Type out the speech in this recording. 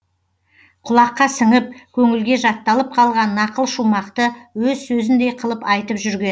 кұлаққа сіңіп көңілге жатталып калған нақыл шумақты өз сөзіндей қылып айтып жүрген